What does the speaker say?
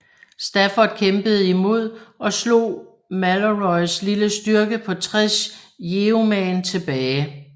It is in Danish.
Stafford kæmpede imod og slog Malorys lille styrke på tres yeoman tilbage